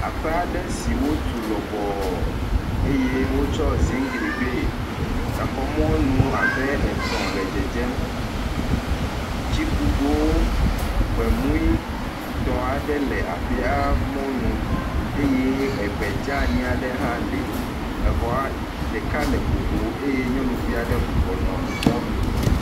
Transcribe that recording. Aƒe aɖe si wotu lɔbɔɔ eye wotɔ ziŋgli gbee. Exɔ mɔnu abe etɔ̃ le dzedzem. Tsikugowo, gbemuitɔ aɖe le aƒea mɔnu eye egbe dzani aɖe hã le. Exɔa ɖeka le ŋuŋu eye nyɔnuvi aɖe bɔbɔ nɔ mɔnu.